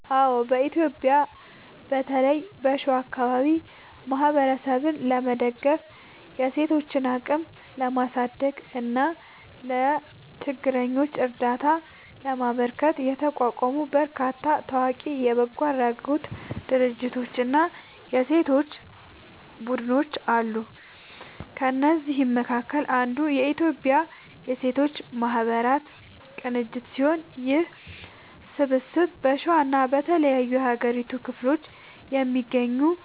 አዎ፣ በኢትዮጵያ በተለይም በሸዋ አካባቢ ማህበረሰብን ለመደገፍ፣ የሴቶችን አቅም ለማሳደግ እና ለችግረኞች እርዳታ ለማበርከት የተቋቋሙ በርካታ ታዋቂ የበጎ አድራጎት ድርጅቶችና የሴቶች ቡድኖች አሉ። ከእነዚህም መካከል አንዱ የኢትዮጵያ ሴቶች ማህበራት ቅንጅት ሲሆን፣ ይህ ስብስብ በሸዋና በተለያዩ የሀገሪቱ ክፍሎች የሚገኙ